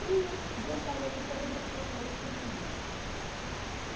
E eu gostaria que todas as pessoas conseguissem.